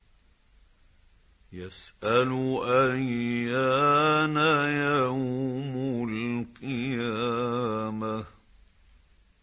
يَسْأَلُ أَيَّانَ يَوْمُ الْقِيَامَةِ